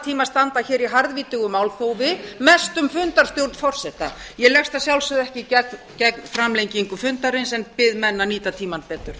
tíma standa hér í harðvítugu málþófi mest um fundarstjórn forseta ég leggst að sjálfsögðu ekki gegn framlengingu fundarins en bið menn að nýta tímann betur